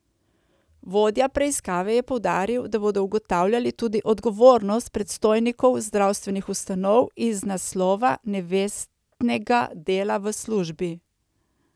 Vodja preiskave je poudaril, da bodo ugotavljali tudi odgovornost predstojnikov zdravstvenih ustanov iz naslova nevestnega dela v službi.